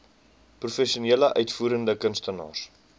professionele uitvoerende kunstenaars